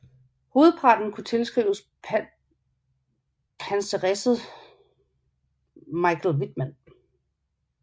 Hovedparten kunne tilskrives panseresset Michael Wittmann